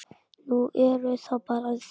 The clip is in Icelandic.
Nú, eruð það bara þið